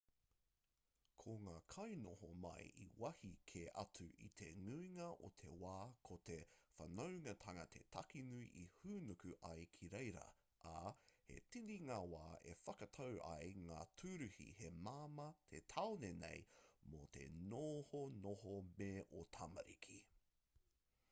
ko ngā kainoho mai i wāhi kē atu i te nuinga o te wā ko te whanaungatanga te take nui e hūnuku ai ki reira ā he tini ngā wā e whakatau ai ngā tūruhi he māmā te taone nei mō te nohonoho me ō tamariki